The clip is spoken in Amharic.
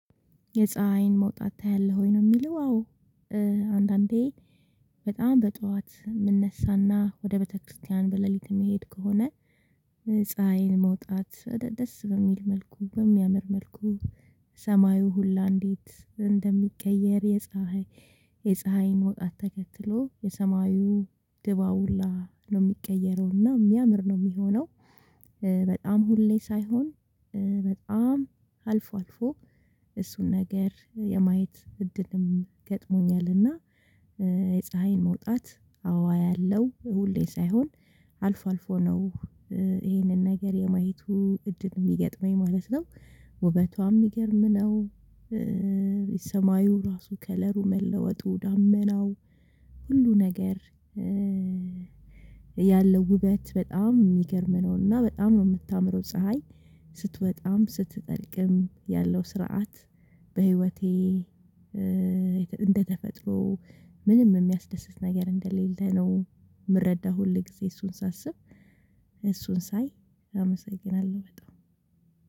የፀሀይን መውጣት ታያለህ ወይ? ነው የሚለው አዎ አንዳንዴ በጣም በጧት የምነሳና ወደ ቤተክርስቲያን በሌሊት የምሄድ ከሆነ ፀሀይን መውጣት ደስ በሚል መልኩ በሚያምር መልኩ ሰማዩ ሁላ እንዴት እንደሚቀየር የፀሀይ የፀሀይን መውጣት ተከትሎ የሰማዩ ድባቡ ሁላ ነው የሚቀየረው እና የሚያምር ነው የሚሆነው በጣም ሁሌ ሳይሆን በጣም አልፎ አልፎ እሱን ነገር የማየት እድልም ገጥሞኛል እና የፀሀይን መውጣት አዎ አያለሁ ሁሌ ሳይሆን አልፎ አልፎ ነው ይሄንን ነገር የማየቱ እድል የሚገጥመኝ ማለት ነው ውበቷም የሚገርም ነው ሰማዩም ራሱ ከለሩ መለወጡ ዳመናው ሁሉ ነገር ያለው ውበት በጣም የሚገርም ነውና በጣም ነው የምታምረው ፀሀይ ስትወጣም ስትጠልቅም ያለው ስርዓት በህይወቴ እንደተፈጥሮ ምንም የሚያስደስት ነገር እንደሌለ ነው የምረዳው ሁል ጊዜ እሱን ሳስብ እሱን ሳይ አመሰግናለሁ በጣም